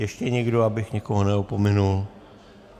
Ještě někdo, abych někoho neopomněl?